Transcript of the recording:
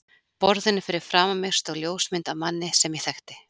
borðinu fyrir framan mig stóð ljósmynd af manni sem ég þekkti.